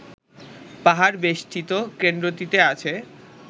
পাহাড় বেষ্টিত কেন্দ্রটিতে আছে